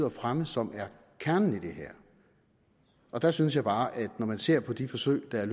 at fremme som er kernen i det her og der synes jeg bare at når man ser på de forsøg der